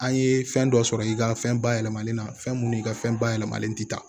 An ye fɛn dɔ sɔrɔ i ka fɛn bayɛlɛmalen na fɛn minnu i ka fɛn bayɛlɛmalen tɛ